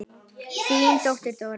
Þín dóttir, Þóra.